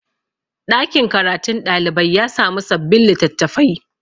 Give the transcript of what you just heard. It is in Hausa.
ɗakin karatun ɗalibai ya samu sabbin litattafai